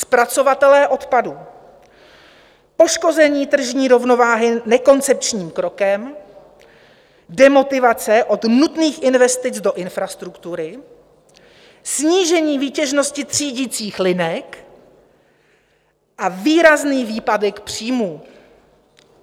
Zpracovatelé odpadů - poškození tržní rovnováhy nekoncepčním krokem, demotivace od nutných investic do infrastruktury, snížení výtěžnosti třídicích linek a výrazný výpadek příjmů.